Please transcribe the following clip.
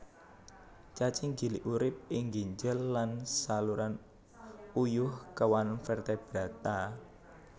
Cacing gilik urip ing ginjel lan saluran uyuh kéwan vertebrata